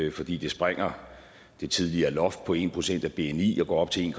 i fordi det sprænger det tidligere loft på en procent af bni og går op til en